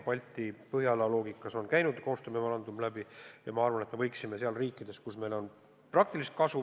Balti-Põhjala loogikast on käinud koostöömemorandum läbi ja ma arvan, et me võiksime tegutseda riikides, kus meile võiks võrsuda praktilist kasu.